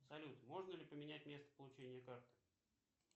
салют можно ли поменять место получения карты